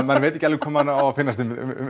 maður veit ekki alveg hvað manni á að finnast